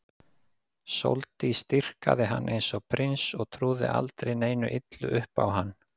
Sóldís dýrkaði hann eins og prins og trúði aldrei neinu illu upp á hann.